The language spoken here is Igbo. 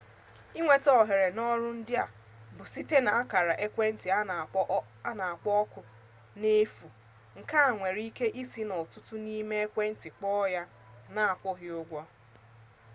inweta ohere n'ọrụ ndị a bụ site n'akara ekwentị n'akpọ oku n'efu nke e nwere ike isi n'ọtụtụ n'ime ekwenti kpọọ ya na-akwụghị ụgwọ